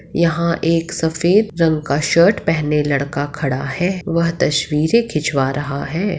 यहाँ एक सफ़ेद रंग का शर्ट पेहने लड़का खड़ा है वह तस्वीरे खिंचवा रहा है।